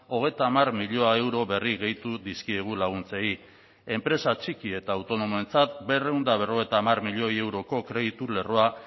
hogeita hamar milioi euro berri gehitu dizkiegu laguntzei enpresa txiki eta autonomoentzat berrehun eta berrogeita hamar milioi euroko kreditu lerroa